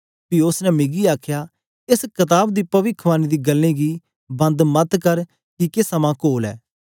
पी उस्स ने मिगी आखया एस कताब दी पविखवाणी दी गल्लें गी बंद मत कर किके समां कोल ऐ